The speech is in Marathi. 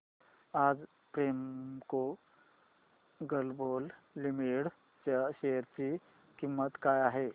आज प्रेमको ग्लोबल लिमिटेड च्या शेअर ची किंमत काय आहे